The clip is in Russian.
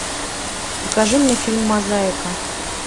покажи мне фильм мозаика